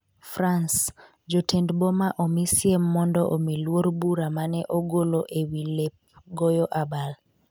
France : jotend boma omisiem mondo omi luor bura mane ogolo ewi lep goyo abal